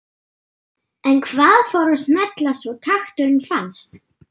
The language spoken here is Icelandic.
En hvað fór að smella svo takturinn fannst?